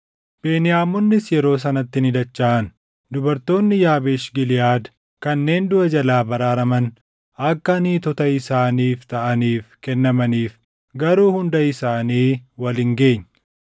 Beniyaamonnis yeroo sanatti ni dachaʼan; dubartoonni Yaabeesh Giliʼaad kanneen duʼa jalaa baraaraman akka niitota isaaniif taʼaniif kennamaniif; garuu hunda isaanii wal hin geenye.